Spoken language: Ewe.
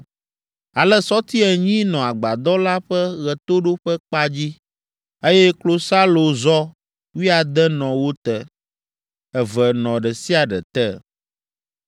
Ale sɔti enyi nɔ agbadɔ la ƒe ɣetoɖoƒekpa dzi, eye klosalozɔ wuiade nɔ wo te: eve nɔ ɖe sia ɖe te.